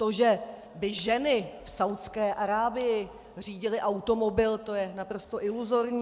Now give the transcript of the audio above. To, že by ženy v Saúdské Arábii řídily automobil, to je naprosto iluzorní.